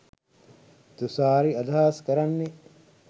තුශාරි අදහස් කරන්නෙ